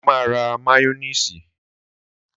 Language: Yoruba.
Sọ ma ra máyónísì?